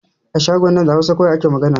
A shagon nan da Hausa ake magana